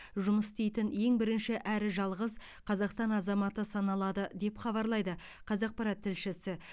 жұмыс істейтін ең бірінші әрі жалғыз қазақстан азаматы саналады деп хабарлайды қазақпарат тілшісі